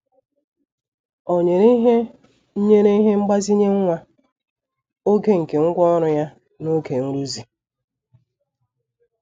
Ọ nyere ihe nyere ihe mgbazinye nwa oge nke ngwá ọrụ ya n'oge nrụzi.